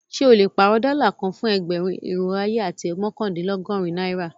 Ṣẹ o le pàárọ̀ dóla kàn fún ẹgbérùn, irò ayé, àti mọkandìnlọ́gọ̀rin naira?